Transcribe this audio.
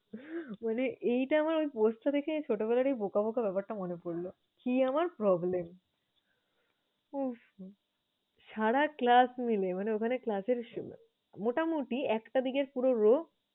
মানে এই টা আমার post টা দেখে ছোটবেলার বোকা বোকা ব্যাপারটা মনে পরলো। কি আমার problem উফ! সারা class মিলে, মানে ওখানে class এর মোটামুটি একটা দিকের পুরা row